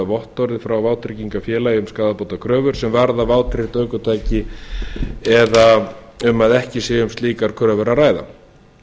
eða vottorði frá vátryggingafélagi um skaðabótakröfur sem varða vátryggt ökutæki eða um að ekki sé um slíkar kröfur að ræða